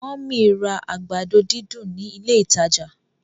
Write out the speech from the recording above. mummy rà àgbàdo dídùn ní ilé ìtàjà.